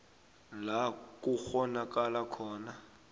la kukghonakala khona